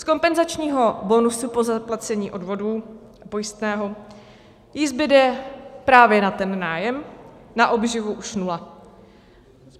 Z kompenzačního bonusu po zaplacení odvodů pojistného jí zbyde právě na ten nájem, na obživu už nula.